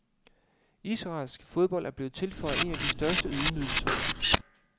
Israelsk fodbold er blevet tilføjet en af de største ydmygelser.